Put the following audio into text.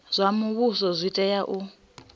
zwa muvhuso zwi tea u